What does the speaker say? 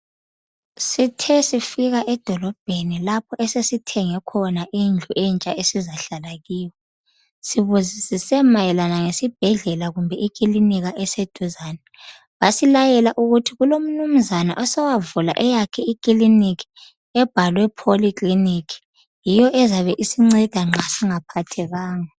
Sithe sifika edolobheni, lapho esesithenge khona indlu entsha esizahlala kiyo .Sibuzisise mayelana ngesibhedlela kumbe ikilinika eseduzane. Basilayela ukuthi kulomnumuzana osowavula eyakhe ikiliniki , ebhalwe Polyclinic. Yiyo ezabe isinceda nxa singaphathekanga.